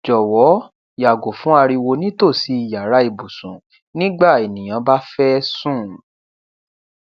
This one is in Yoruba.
jọwọ yàgò fún ariwo ni tosí yàrá ibùsùn nígbà ènìyàn bá fẹ sùn